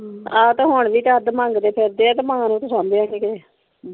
ਹਮ ਆ ਤੇ ਹੁਣ ਵੀ ਅੱਡ ਮੰਗਦੇ ਫਿਰਦੇ ਤੇ ਮਾਂ ਨੂੰ ਫਸਾਂਦੇ ਆ .